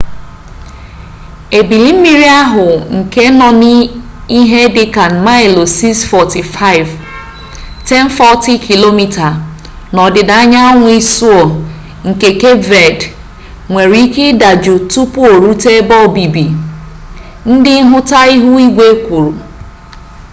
ebili mmiri ahụ nke nọ ihe dịka maịlụ 645 1040 km n'ọdịda anyanwụ isuo nke kep ved nwere ike ịdajụ tupu orute ebe obibi ndị nhụta ihu igwe kwuru